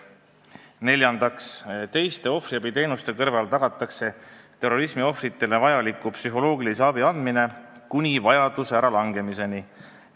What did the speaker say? Neljandaks, teiste ohvriabi teenuste kõrval tagatakse terrorismiohvritele vajaliku psühholoogilise abi andmine kuni vajaduse äralangemiseni.